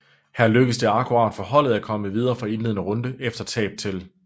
Her lykkedes det akkurat for holdet at komme videre fra indledende runde efter tab til